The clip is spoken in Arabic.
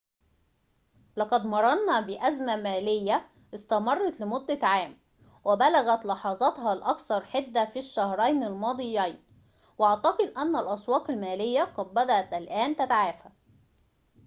لقد مررنا بأزمة مالية استمرّت لمدة عام وبلغت لحظاتها الأكثر حدّة في الشهرين الماضيين وأعتقد أنّ الأسواق المالية قد بدأت الآن تتعافى